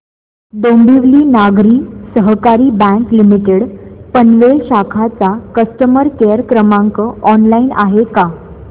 डोंबिवली नागरी सहकारी bank limited Panvel शाखा चा कस्टमर केअर क्रमांक ऑनलाइन आहे का